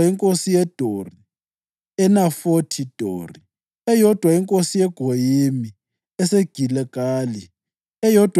inkosi yeDori (eNafothi Dori), eyodwa inkosi yeGoyimi eseGiligali, eyodwa